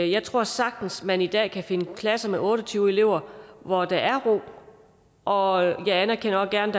jeg tror sagtens at man i dag kan finde klasser med otte og tyve elever hvor der er ro og jeg anerkender også gerne